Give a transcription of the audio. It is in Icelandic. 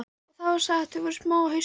Og það var satt, þau voru smá á haustin.